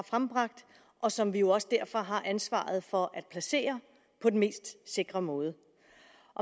frembragt og som vi jo også derfor har ansvaret for at placere på den mest sikre måde